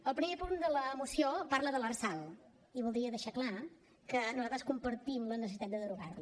el primer punt de la moció parla de l’lrsal i voldria deixar clar que nosaltres compartim la necessitat de derogar la